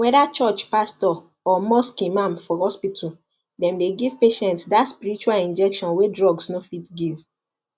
whether church pastor or mosque imam for hospital dem dey give patients that spiritual injection wey drugs no fit give